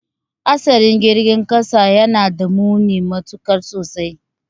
Hatsarin girgin kasa yanada muni matuka sosai